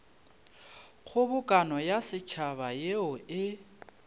kgobokano ya setšhaba yeo e